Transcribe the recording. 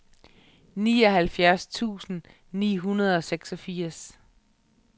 nioghalvfjerds tusind ni hundrede og seksogfirs